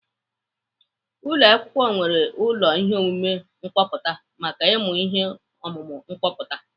Ụlọakwụkwọ nwere ụlọ ihe omume kọmputa maka ịmụ ihe ọmụmụ kọmputa.